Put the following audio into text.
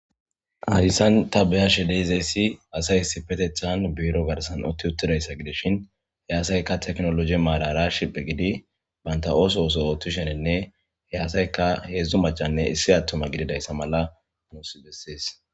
Hayssan ta beyashe dizayssi asay issipetethan biirro garssan uutti uttidayssa gidishin ha asaykka tekinollojje marara shiiphphi giiddi bantta oosuwa ooththishenne he asaykka hedzdzu macanne issi attuma gididayssa mala nuus besses